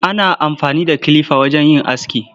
Ana amfani da kilifa wajen yin aski.